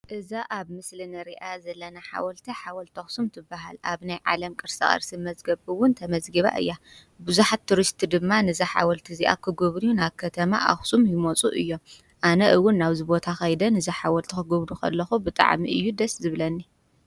እዛ ኣብ ምስሊ እንሪኣ ዘለና ሓወልቲ ሓወልቲ ኣኽሱም ትበሃል ኣብ ናይ ዓለም ቅርሳ ቅርሲ መዝገብ እዉን ተመዝጊባ እያ ቡዙሓት ቱሪስት ድማ ነዛ ሓወልቲ እዚኣ ክጉብንዩ ናብ ከተማ ኣኽሱም ይመፁ እዮም ኣነ እዉን ናብዚ ቦታ ኸይደ ነዛ ሓወልቲ ክጉብንይ ከለኹ ብጣዕሚ እዩ ደስ ዝብለኒ።